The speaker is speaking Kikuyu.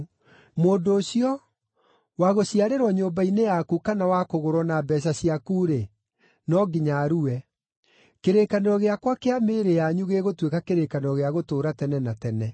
Mũndũ ũcio, wagũciarĩrwo nyũmba-inĩ yaku kana wakũgũrwo na mbeeca ciaku-rĩ, no nginya arue. Kĩrĩkanĩro gĩakwa kĩa mĩĩrĩ yanyu gĩgũtuĩka kĩrĩkanĩro gĩa gũtũũra tene na tene.